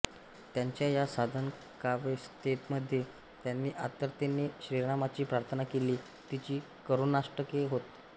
त्यांच्या या साधकावस्थेमध्ये त्यांनी आर्ततेने श्रीरामाची प्रार्थना केली तीच करुणाष्टके होत